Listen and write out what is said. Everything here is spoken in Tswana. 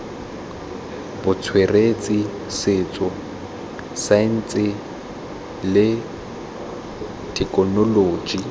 botsweretshi setso saense le thekenoloji